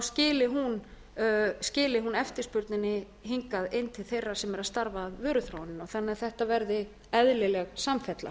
skili hún eftirspurninni hingað inn til þeirra sem eru að starfa að vöruþróun þannig að þetta verði eðlileg samfella